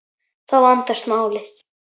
Þá vandast málið.